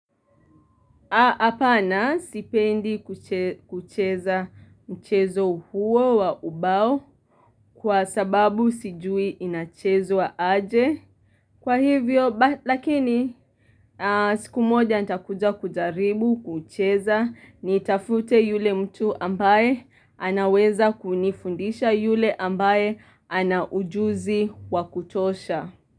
Hapana sipendi kucheza mchezo huo wa ubao kwa sababu sijui inachezwa aje. Kwa hivyo, lakini siku moja nitakuja kujaribu kucheza nitafute yule mtu ambaye anaweza kunifundisha yule ambaye ana ujuzi wa kutosha.